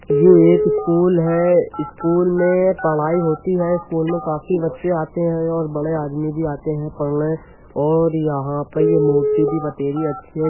ये एक स्कूल है। स्कूल में पढ़ाई होती है। स्कूल में काफी बच्चे आते हैं और बड़े आदमी भी आते हैं पढ़ने और यहाँ पे ये मूर्ति भी बतेरी अच्छी है।